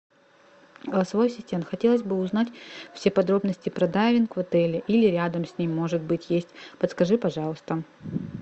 голосовой ассистент хотелось бы узнать все подробности про дайвинг в отеле или рядом с ним может быть есть подскажи пожалуйста